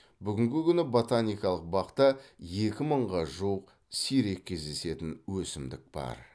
бүгінгі күні ботаникалық бақта екі мыңға жуық сирек кездесетін өсімдік бар